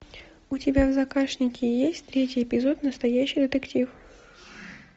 у тебя в загашнике есть третий эпизод настоящий детектив